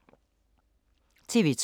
TV 2